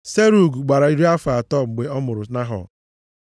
Serug gbara iri afọ atọ mgbe ọ mụrụ Nahọ.